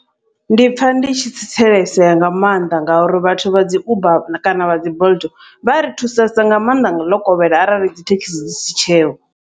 Ndi pfha ndi tshi tsitselisea nga maanḓa, ngauri vhathu vha dzi uber kana vha dzi bolt vha ri thusesa nga maanḓa ḽo kovhela arali dzithekhisi dzi si tsheho.